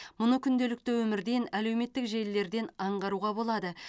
мұны күнделікті өмірден әлеуметтік желілерден аңғаруға болады